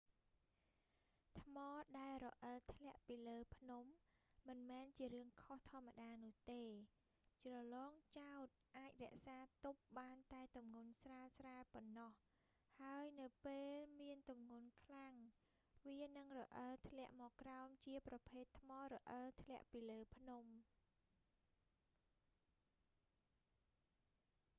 ថ្មដែលរអិលធ្លាក់ពីលើភ្នំ មិនមែនជារឿងខុសធម្មតានោះទេ ជ្រលងចោទ អាចរក្សាទប់បានតែទម្ងន់ស្រាលៗប៉ុណ្ណោះ ហើយនៅពេលមានទម្ងន់ខ្លាំង វានឹងរអិលធ្លាក់មកក្រោមជាប្រភេទថ្មរអិលធ្លាក់ពីលើភ្នំ